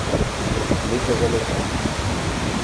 Leto za letom.